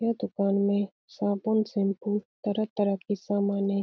यह दुकान में साबुन शैम्पु तरह तरह के सामान है ।